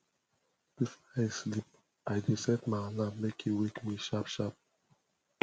before i sleep i dey set my alarm make e wake me sharpsharp